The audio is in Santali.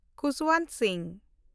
ᱠᱷᱩᱥᱵᱚᱱᱴ ᱥᱤᱝ